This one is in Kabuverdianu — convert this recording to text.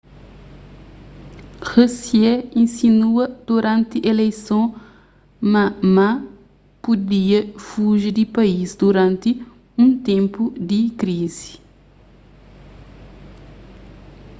hsieh insinua duranti ileison ma ma pudia fuji di país duranti un ténpu di krizi